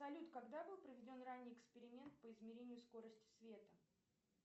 салют когда был проведен ранний эксперимент по измерению скорости света